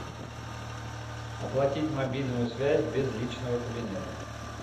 оплатить мобильную связь без личного кабинета